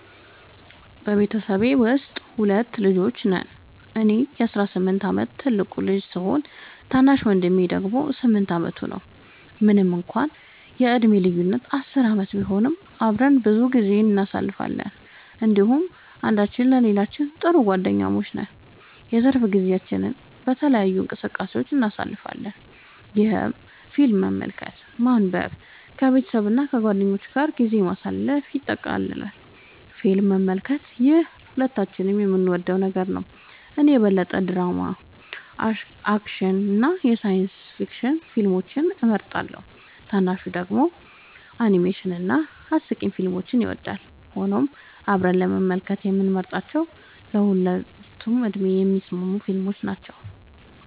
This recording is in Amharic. በቤተሰቤ ውስጥ ሁለት ልጆች ነን - እኔ የ18 ዓመት ትልቁ ልጅ ሲሆን፣ ታናሽ ወንድሜ ደግሞ 8 ዓመቱ ነው። ምንም እንኳን የዕድሜ ልዩነታችን 10 ዓመት ቢሆንም፣ አብረን ብዙ ጊዜ እናሳልፋለን እንዲሁም አንዳችን ለሌላችን ጥሩ ጓደኛሞች ነን። የትርፍ ጊዜያችንን በተለያዩ እንቅስቃሴዎች እናሳልፋለን፣ ይህም ፊልም መመልከትን፣ ማንበብን፣ ከቤተሰብ እና ከጓደኞች ጋር ጊዜ ማሳለፍን ያጠቃልላል። ፊልም መመልከት - ይህ ሁለታችንም የምንወደው ነገር ነው። እኔ የበለጠ ድራማ፣ አክሽን እና ሳይንስ ፊክሽን ፊልሞችን እመርጣለሁ፣ ታናሹ ደግሞ አኒሜሽን እና አስቂኝ ፊልሞችን ይወዳል። ሆኖም አብረን ለመመልከት የምንመርጣቸው ለሁለቱም ዕድሜ የሚስማሙ ፊልሞች ናቸው።